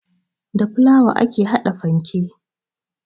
Da fulawa ake haɗa fanke